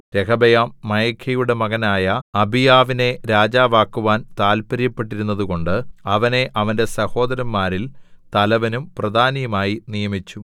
രെഹബെയാം മയഖയുടെ മകനായ അബീയാവിനെ രാജാവാക്കുവാൻ താൽപ്പര്യപ്പെട്ടിരുന്നതുകൊണ്ട് അവനെ അവന്റെ സഹോദരന്മാരിൽ തലവനും പ്രധാനിയുമായി നിയമിച്ചു